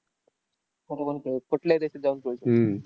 देत कुठल्याही देशात जाऊन खेळू शकतो.